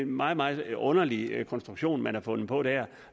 meget meget underlig konstruktion man har fundet på der